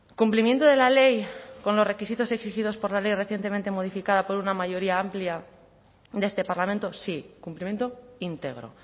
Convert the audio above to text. cumplimiento de la ley con los requisitos exigidos por la ley recientemente modificada por una mayoría amplia de este parlamento sí cumplimiento íntegro